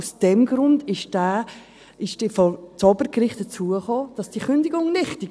Aus diesem Grund befand das Obergericht, die Kündigung sei nichtig.